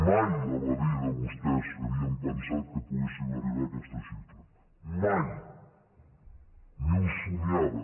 mai a la vida vostès havien pensat que pogués sim arribar a aquesta xifra mai ni ho somiaven